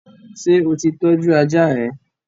Ṣé o ti tọ́jú ajá rẹ?